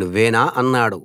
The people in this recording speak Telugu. నువ్వేనా అన్నాడు